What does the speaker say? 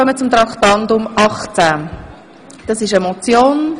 Es handelt sich um Richtlinienmotion.